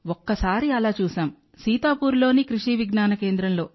ఒక్కసారి అలా చూశాం సీతాపూర్లోని కృషి విజ్ఞాన కేంద్రంలో